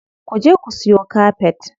Ku je ku siyo kafet.